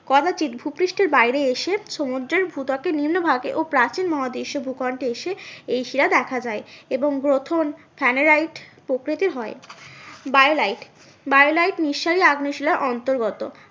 কদাচিৎ ভুপৃষ্ঠের বাইরে এসে সমুদ্রের ভূত্বকের নিম্ন ভাগে ও প্রাচীন মহাদেশীও ভূখণ্ডে এসে এই শিলা দেখা যায়। এবং গ্রথন স্যানেরাইট প্রকৃতির হয়। বায়োলাইট, বায়োলাইট নিঃসারী আগ্নেয়শিলার অন্তর্গত